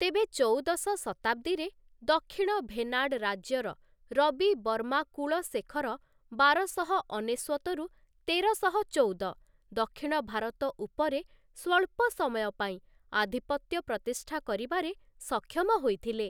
ତେବେ ଚଉଦଶ ଶତାବ୍ଦୀରେ, ଦକ୍ଷିଣ ଭେନାଡ଼୍‌ ରାଜ୍ୟର ରବି ବର୍ମା କୁଳଶେଖର ବାରଶହ ଅନେଶ୍ୱତ ରୁ ତେରଶହ ଚଉଦ ଦକ୍ଷିଣ ଭାରତ ଉପରେ ସ୍ୱଳ୍ପ ସମୟ ପାଇଁ ଆଧିପତ୍ୟ ପ୍ରତିଷ୍ଠା କରିବାରେ ସକ୍ଷମ ହୋଇଥିଲେ ।